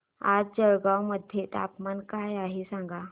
आज जळगाव मध्ये तापमान काय आहे सांगा